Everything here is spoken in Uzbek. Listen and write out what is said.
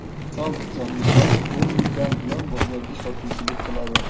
Sodiqjon Nishonov o‘n yildan buyon bozorda sotuvchilik qiladi.